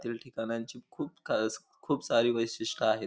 येथील ठिकाणांची खूप खास खूप सारी वैशिष्ट्य आहेत.